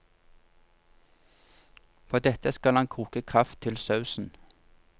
På dette skal han koke kraft til sausen.